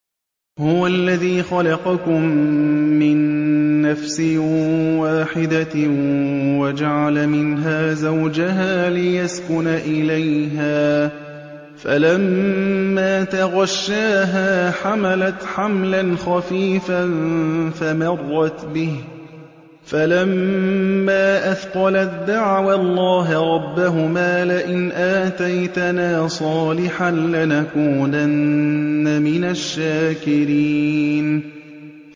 ۞ هُوَ الَّذِي خَلَقَكُم مِّن نَّفْسٍ وَاحِدَةٍ وَجَعَلَ مِنْهَا زَوْجَهَا لِيَسْكُنَ إِلَيْهَا ۖ فَلَمَّا تَغَشَّاهَا حَمَلَتْ حَمْلًا خَفِيفًا فَمَرَّتْ بِهِ ۖ فَلَمَّا أَثْقَلَت دَّعَوَا اللَّهَ رَبَّهُمَا لَئِنْ آتَيْتَنَا صَالِحًا لَّنَكُونَنَّ مِنَ الشَّاكِرِينَ